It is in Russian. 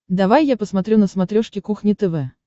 давай я посмотрю на смотрешке кухня тв